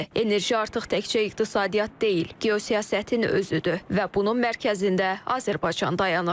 Enerji artıq təkcə iqtisadiyyat deyil, geosiyasətin özüdür və bunun mərkəzində Azərbaycan dayanır.